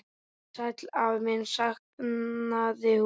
Sæll afi minn sagði hún.